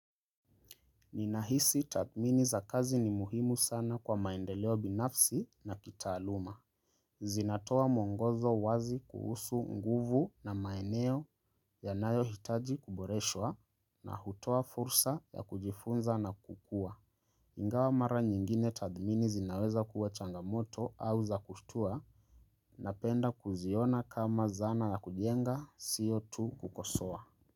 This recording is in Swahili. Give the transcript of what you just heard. Ninahisi tathmini za kazi ni muhimu sana kwa maendeleo binafsi na kitaaluma. Zinatoa mwongozo wazi kuhusu nguvu na maeneo yanayo hitaji kuboreshowa na hutoa fursa ya kujifunza na kukua. Ingawa mara nyingine tathmini zinaweza kuwa changamoto au za kushtua na penda kuziona kama zana ya kujenga sio tu kukosoa.